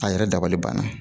A yɛrɛ dabali banna